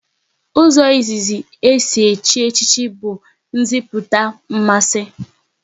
Ụzọ izizi e si echi echichi bụ nziputa mmasị